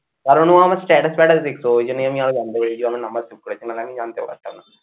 কারণ ও আমার status ফেটাস দেখতো ওই জন্যই আমি আর জানতে পেরেছি যে আমার নাম্বার save করেছে নাহলে আমি জানতেও পারতাম না